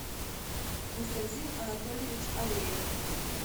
константин анатольевич алеев